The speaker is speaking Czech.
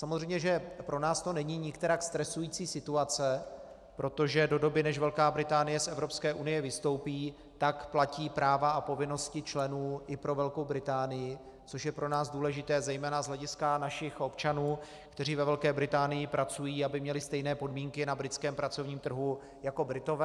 Samozřejmě že pro nás to není nikterak stresující situace, protože do doby, než Velká Británie z Evropské unie vystoupí, tak platí práva a povinnosti členů i pro Velkou Británii, což je pro nás důležité zejména z hlediska našich občanů, kteří ve Velké Británii pracují, aby měli stejné podmínky na britském pracovním trhu jako Britové.